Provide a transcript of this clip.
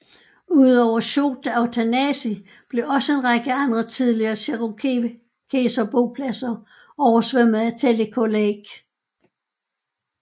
Ud over Chota og Tanasi blev også en række andre tidligere cherokeserbopladser oversvømmet af Tellico Lake